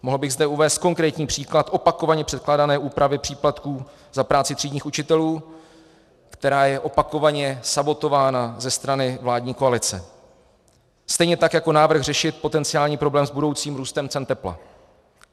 Mohl bych zde uvést konkrétní příklad opakovaně předkládané úpravy příplatků za práci třídních učitelů, která je opakovaně sabotována ze strany vládní koalice, stejně tak jako návrh řešit potenciální problém s budoucím růstem cen tepla.